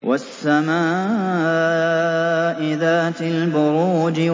وَالسَّمَاءِ ذَاتِ الْبُرُوجِ